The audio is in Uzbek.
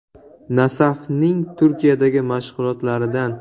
"Nasaf"ning Turkiyadagi mashg‘ulotlaridan.